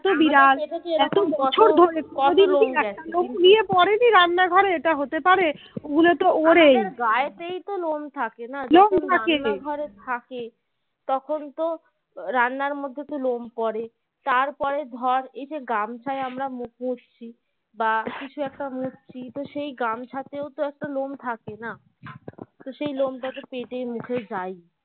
রান্নার মধ্যে তো লোম পরে তারপরে ধর এই যে গামছাই আমরা মুখ মুচ্ছি বা কিছু একটা মরছি তো সেই গামছাতেও তো একটা লোম থাকে না সেই লোমটা তো পেতে মুখে যায়